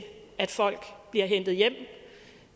at folk bliver hentet hjem